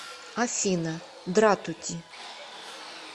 афина дратути